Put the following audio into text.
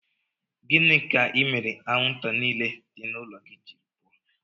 Gịnị ka imere anwụnta niile nọ n'ụlọ gị jiri pụọ?